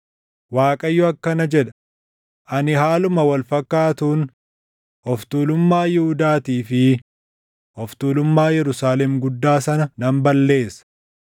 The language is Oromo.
“ Waaqayyo akkana jedha; ‘Ani haaluma wal fakkaatuun of tuulummaa Yihuudaatii fi of tuulummaa Yerusaalem guddaa sana nan balleessa.